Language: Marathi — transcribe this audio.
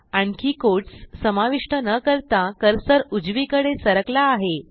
आणखी कोट्स समाविष्ट न करता कर्सर उजवीकडे सरकला आहे